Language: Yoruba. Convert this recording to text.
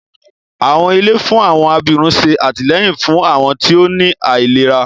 Àwọn ilé fún àwọn abirùn ṣé àtìlẹ́yìn fún àwọn tí ó ní àìlera